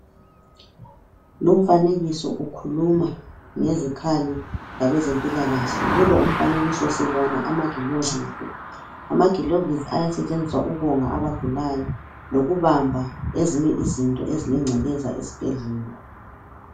Lumfanekiso ukhuluma ngezikhali zakwezempilakahle. Kulo umfanekiso sibona amagilovisi, amagilovisi ayasetshenziswa ukonga abagulayo lokubamba ezinye izinto ezilencekeza esibhedlela.